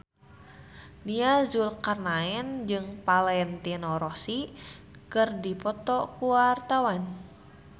Nia Zulkarnaen jeung Valentino Rossi keur dipoto ku wartawan